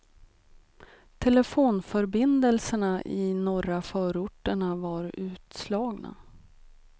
Telefonförbindelserna i norra förorterna var utslagna.